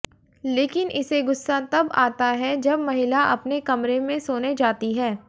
लेकिन इसे गुस्सा तब आता है जब महिला अपने कमरे में सोने जाती है